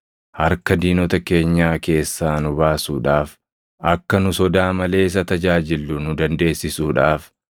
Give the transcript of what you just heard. harka diinota keenyaa keessaa nu baasuudhaaf, akka nu sodaa malee isa tajaajillu nu dandeessisuudhaaf,